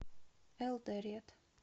элдорет